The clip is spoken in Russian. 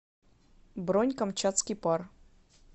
бронь камчатский пар